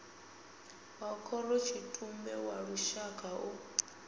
wa khorotshitumbe wa lushaka u